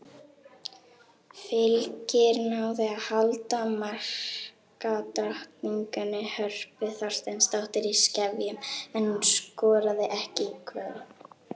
Fylkir náði að halda markadrottningunni Hörpu Þorsteinsdóttur í skefjum en hún skoraði ekki í kvöld.